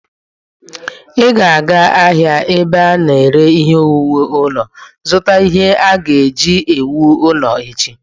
Ị ga-aga ahịa ebe ana ere ihe owuwu ulo, zụta ihe a ga-eji wuo ụlọ echi.